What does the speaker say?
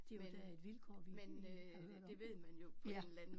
Det er jo da et vilkår vi vi har hørt om ja